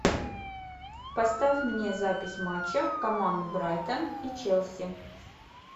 поставь мне запись матча команд брайтон и челси